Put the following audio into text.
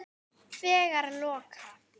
Þegar loka